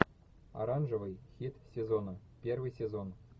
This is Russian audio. оранжевый хит сезона первый сезон